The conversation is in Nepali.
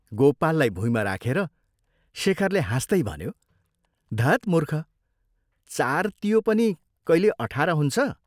गोपाललाई भुइँमा राखेर शेखरले हाँस्तै भन्यो, "धत् मूर्ख, चार तियो पनि कैले अठार हुन्छ?